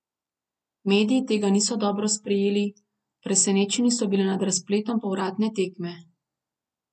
Mediji tega niso dobro sprejeli, presenečeni so bili nad razpletom povratne tekme.